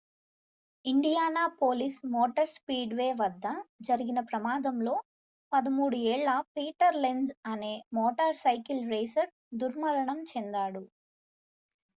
Indianapolis motor speedway వద్ద జరిగిన ప్రమాదంలో 13 ఏళ్ల పీటర్ లెంజ్ అనే మోటార్ సైకిల్ రేసర్ దుర్మరణం చెందాడు